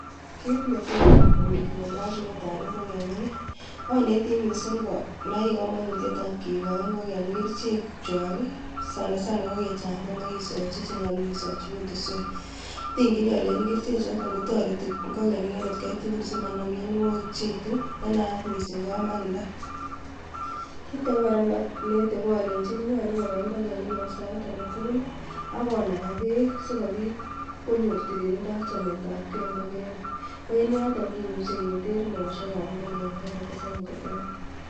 Kit netos amwochi temindetab ingogenik, akobo miondoo anetii Konai komonutietab kikochi ingogenik kerichek chon alak sanasana ko kechanchan ak kisoochi chenyolu kisoochi kutuswek. Atingyini alenyini kerichek chotet kotoretii ingogenik en etkai tugul simanaam mionwogik cheituu nenaat missing ko amaldaa. Kitage kora neonetee ko alenyiini nyolu kobai ingogenik en sait agetugul ako nakaa beek sikobiit konyoor tililido ak chametabgee nebo bortanywan koen yotoon kimuche keter meosiekab ingogenik.